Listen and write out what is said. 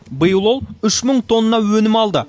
биыл ол үш мың тонна өнім алды